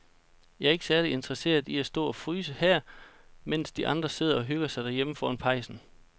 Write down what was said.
Jeg er ikke særlig interesseret i at stå og fryse her, mens de andre sidder og hygger sig derhjemme foran pejsen.